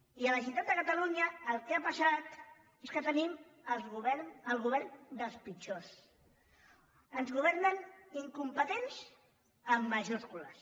i a la ge·neralitat de catalunya el que ha passat és que tenim el govern dels pitjors ens governen incompetents en majúscules